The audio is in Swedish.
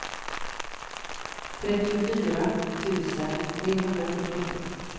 trettiofyra tusen trehundrafyrtiosju